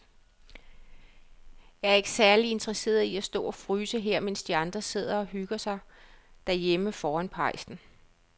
Jeg er ikke særlig interesseret i at stå og fryse her, mens de andre sidder og hygger sig derhjemme foran pejsen.